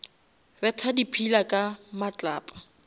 betha di pillar ka matlapa